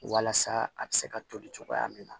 Walasa a bɛ se ka toli cogoya min na